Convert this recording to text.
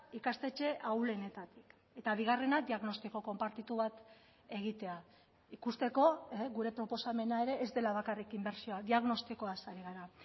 ikastetxe ahulenetatik eta bigarrena diagnostiko konpartitu bat egitea ikusteko gure proposamena ere ez dela bakarrik inbertsioa diagnostikoaz ari gara